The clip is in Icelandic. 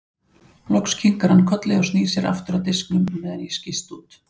Loks kinkar hann kolli og snýr sér aftur að diskunum meðan ég skýst út.